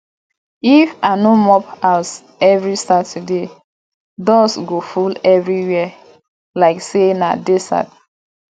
if i no mop house every saturday dust go full everywhere like say na desert